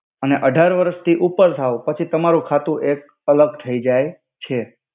અને અઢાર વરસ થી ઉપેર થાવ પછી તમારુ ખાતુ એક અલ્ગ થઇ જઇ છે.